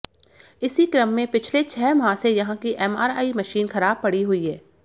इसी क्रम में पिछले छह माह से यहां की एमआरआई मशीन खराब पड़ी हुई है